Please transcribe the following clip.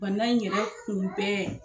Ban in yɛrɛ tun bɛɛ